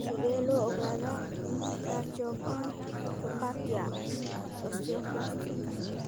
Sidee loo ogaadaa tracheobronchopathia osteoplastica?